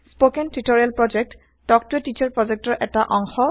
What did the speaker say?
spoken tutorial project talk to a teacher প্ৰজেক্টৰ অংশ